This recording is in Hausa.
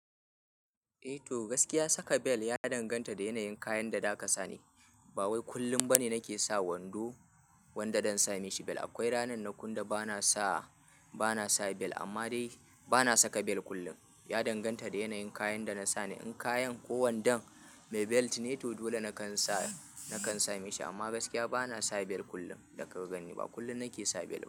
Eh to gaskiya saka bel ya danganta da yanayin kayan da za ka sani. Ba wai kullum ba ne nake sa wando wanda zan sami shi bel. Akwai ranana kunda bana sa, bana sa bel amma dai bana saka bel kullum. Ya danganta da yanayin kayan da na sa ne. In kayan kowanda mai belt ne to dole nakan sa, nakan sami shi amma gaskiya bana sa bel kullum da kagan ni ba kullum nake sa bel.